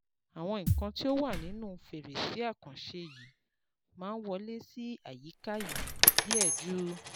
Àwọn nǹkan tó wà nínú fèrèsé àkànṣe yìí máa ń wọlé sí àyíká yìí díẹ̀ ju